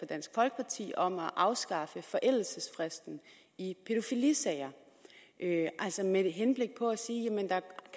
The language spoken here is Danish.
dansk folkeparti om at afskaffe forældelsesfristen i pædofilisager med henblik på at sige at der